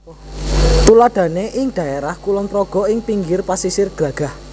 Tuladhané ing dhaérah Kulon Progo ing pinggir pasisir Glagah